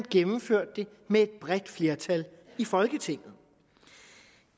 gennemført af et bredt flertal i folketinget